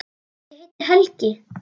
Hann heitir Helgi.